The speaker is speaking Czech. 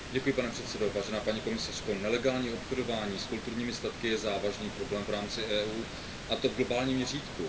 Pane předsedající, vážená paní komisařko, nelegální obchodování s kulturními statky je závažný problém v rámci EU, a to v globálním měřítku.